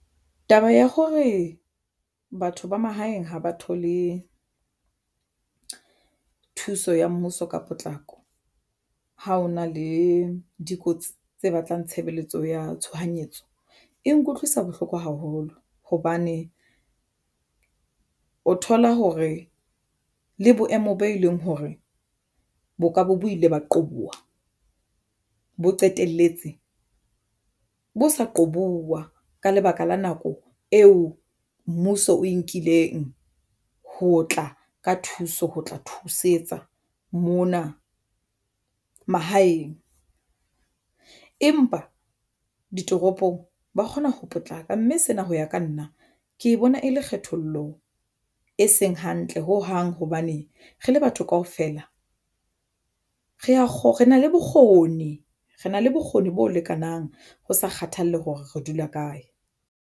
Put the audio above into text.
Taba ya hore batho ba mahaeng ha ba thole thuso ya mmuso ka potlako ha ho na le dikotsi tse batlang tshebeletso ya tshohanyetso e nkutlwisa bohloko haholo hobane o thola hore le boemo bo e leng hore bo ka bo bo ile ba qobuwa bo qetelletse bo sa qobuwa ka lebaka la nako eo mmuso o e nkileng ho tla ka thuso ho tla thusetsa mona mahaeng. Empa ditoropong ba kgona ho potlaka mme sena ho ya ka nna ke bona ha e le kgethollo e seng hantle ho hang hobane re le batho kaofela re na le bokgoni re na le bokgoni bo lekanang ho sa kgathalle hore re dula kae.